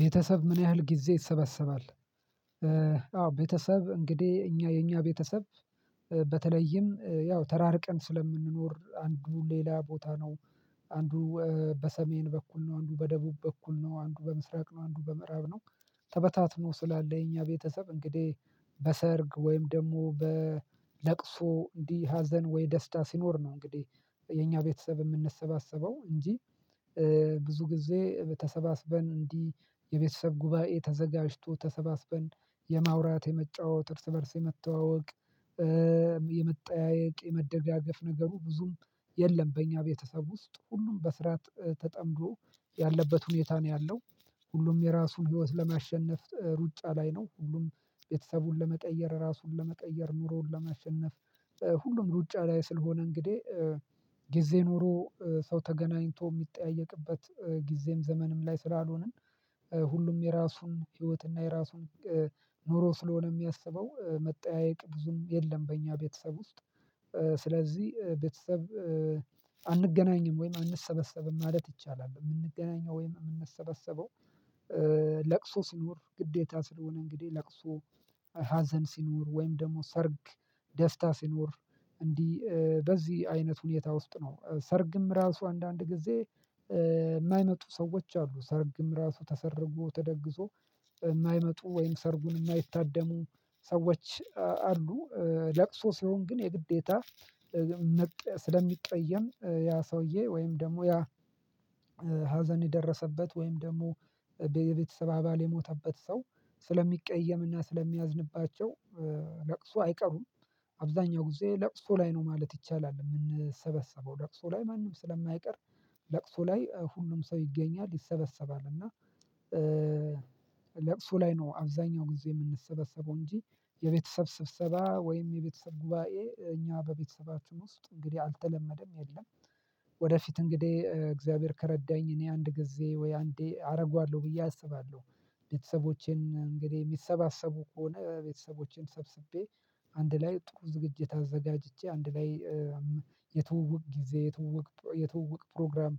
ቤተሰብ ምን? ያህል ጊዜ ይሰበሰባል። አዎ ቤተሰብ እንግዲህ እኛ የኛ ቤተሰብ በተለይም ያው ተራርቀን ስለምንኖር አንዱ ሌላ ቦታ ነው። አንዱ በሰሜን በኩል ነው አንዱ በደቡብ በኩል ነው አንዱ በምስራቅ ነው አንዱ በምዕራብ ነው። ተበታትኖ ስላለ የኛ ቤተሰብ እንግዲህ በሰርግ ወይም ደግሞ በለቅሶ እንዲህ ሀዘን ወይ ደስታ ሲኖር ነው። እንግዲህ የኛ ቤተሰብ የምንሰባሰበው እንጂ። ብዙ ጊዜ ተሰባስበን እንዲህ የቤተሰብ ጉባኤ ተዘጋጅቶ ተሰባስበን የማውራት የመጫወት እርስ በእርስ የመተዋወቅ የመጠያየቅ የመደጋገፍ ነገሩ ብዙም የለም። በእኛ ቤተሰብ ውስጥ ሁሉም በስራ ተጠምዶ ያለበት ሁኔታ ነው ያለው። ሁሉም የራሱን ህይወት ለማሸነፍ ሩጫ ላይ ነው። ሁሉም ቤተሰቡን ለመቀየር ራሱን ለመቀየር ኑሮውን ለመሸነፍ ሁሉም ሩጫ ላይ ስል ሆነ እንግዲህ። ጊዜ ኑሮ ሰው ተገናኝቶ የሚጠያየቅበት ጊዜም ዘመንም ላይ ስላልሆንን ሁሉም የራሱን ህይወትና የራሱን ኑሮ ስለሆነ የሚያስበው መጠያየቅ ብዙም የለም። በእኛ ቤተሰብ ውስጥ ስለዚህ ቤተሰብ አንገናኝም ወይም አንሰበሰብም ማለት ይቻላል። የምንገናኘው ወይም የምንሰበሰበው ለቅሶ ሲኖር ግዴታ ስለሆነ እንግዲህ ለቅሶ ሀዘን ሲኖር ወይም ደግሞ ሰርግ። ደስታ ሲኖር እንዲህ በዚህ አይነት ሁኔታ ውስጥ ነው ሰርግም ራሱ አንዳንድ ጊዜ የማይመጡ ሰዎች አሉ። ሰርግም ራሱ ተሰርጎ ተደግሶ የማይመጡ ወይም ሰርጉን የማይታደሙ ሰዎች አሉ። ለቅሶ ሲሆን ግን የግዴታ ስለሚቀየም ያ ሰውዬ ወይም ደግሞ ያ ሀዘን የደረሰበት ወይም ደግሞ ቤተሰብ አባል የሞተበት ሰው ስለሚቀየም እና ስለሚያዝንባቸው ለቅሶ አይቀሩም። አብዛኛው ጊዜ ለቅሶ ላይ ነው ማለት ይቻላል የምንሰበሰበው ለቅሶ ላይ ማንም ስለማይቀር ለቅሶ ላይ ሁሉም ሰው ይገኛል ይሰበሰባል። እና ለቅሶ ላይ ነው አብዛኛው ጊዜ የምንሰበሰበው እንጂ የቤተሰብ ስብሰባ ወይም የቤተሰብ ጉባኤ እኛ በቤተሰባችን ውስጥ እንግዲህ አልተለመደም የለም። ወደፊት እንግዲህ እግዚአብሔር ከረዳኝ እኔ አንድ ጊዜ ወይ አንዴ አደርገዋለሁ ብዬ አስባለሁ። ቤተሰቦቼን እንግዲህ የሚሰባሰቡ ከሆነ ቤተሰቦቼን ሰብስቤ አንድ ላይ ጥሩ ዝግጅት አዘጋጅቼ አንድ ላይ የትውውቅ ጊዜ የትውውቅ የትውውቅ ፕሮግራም